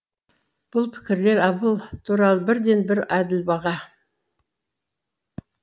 бұл пікірлер абыл туралы бірден бір әділ баға